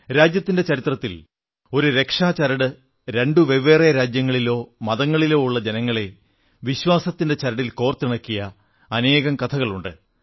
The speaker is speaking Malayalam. രാജ്യത്തിന്റെ ചരിത്രത്തിൽ ഈ ഒരു രക്ഷാ ചരട് രണ്ട് വെവ്വേറെ രാജ്യങ്ങളിലോ മതങ്ങളിലോ ഉള്ള ജനങ്ങളെ വിശ്വാസത്തിന്റെ ചരടിൽ കോർത്തിണക്കിയ അനേകം കഥകളുണ്ട്